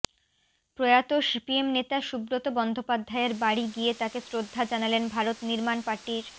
প্রয়াত সিপিএম নেতা সুব্রত বন্দ্যোপাধ্যায়ের বাড়ি গিয়ে তাঁকে শ্রদ্ধা জানালেন ভারত নির্মাণ পার্টির